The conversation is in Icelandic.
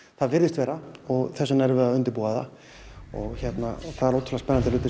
það virðist vera og þess vegna erum við að undirbúa það og það eru ótrúlega spennandi þættir